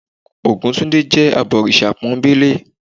Ògúntúndé jé abọ̀rìṣà pónbélé